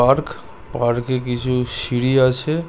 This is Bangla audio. পার্ক পার্কে কিছু সিঁড়ি আছে।